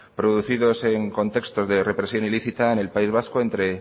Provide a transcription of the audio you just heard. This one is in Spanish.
producidos en un contexto de represión ilícita en el país vasco entre